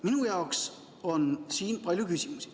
Minu jaoks on siin palju küsimusi.